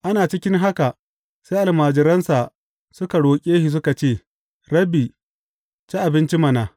Ana cikin haka, sai almajiransa suka roƙe shi suka ce, Rabbi, ci abinci mana.